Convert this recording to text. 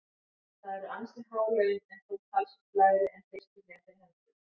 Það eru ansi há laun en þó talsvert lægri en fyrstu fréttir hermdu.